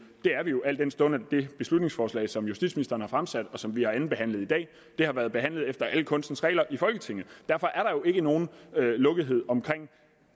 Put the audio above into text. det er vi jo al den stund det beslutningsforslag som justitsministeren har fremsat og som vi har andenbehandlet i dag har været behandlet efter alle kunstens regler i folketinget derfor er der jo ikke nogen lukkethed om